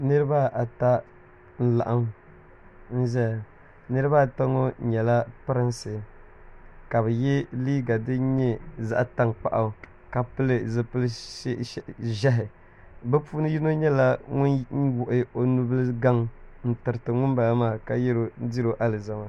niriba ata n-laɣim n-zaya niriba ata ŋɔ nyɛla pirinsi ka bɛ ye liiga din nyɛ zaɣ' tankpaɣu ka pili zipil' ʒɛhi bɛ puuni yino nyɛla ŋun wuɣi o nubili gaŋ n-tiriti ŋumbala maa ka diri o alizama